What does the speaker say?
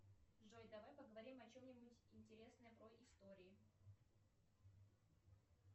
джой давай поговорим о чем нибудь интересном про истории